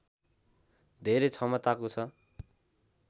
धेरै क्षमताको छ